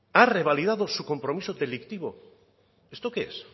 ha revalidado su compromiso delictivo esto qué es